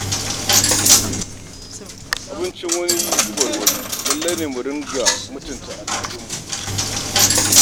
Abincin wani gubar wani, lallai ne mu mutunta bambancin al'adunmu.